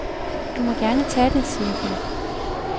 Du må gerne tage det, siger hun.